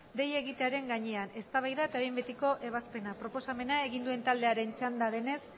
deia egiaren gainean eztabaida eta behin betiko ebazpena proposamena egin duenaren taldearen txanda denez